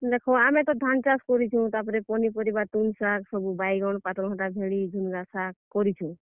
ଦେଖ ଆମେ ତ ଧାନ୍ ଚାଷ୍ କରିଛୁଁ, ତାପ୍ ରେ ପନିପରିବା ତୁନ୍, ଶାଗ୍ ତାର୍ ପରେ ବାଇଗନ୍, ପାତଲ୍ ଘଣ୍ଟା, ଭେଣ୍ଡି, ଝୁନ୍ ଗା ଶାଗ୍, କରିଛୁଁ।